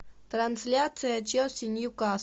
трансляция челси нью касл